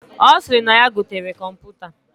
Osiri na yaa gotere kọmputa.